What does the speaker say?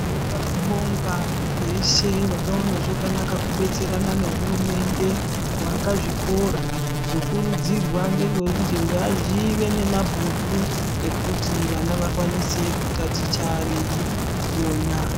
Ndinoda kubonga veshe vakaona zvakanaka kudetserana nehurumende kuaka zvikora. Zvokurudzirwa ngezvekuti ngazvive nemabhuku ekuti vana vakwanise kutaticha veiona.